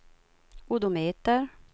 odometer